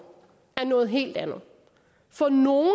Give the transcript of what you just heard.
er noget helt andet for nogle